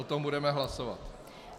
O tom budeme hlasovat.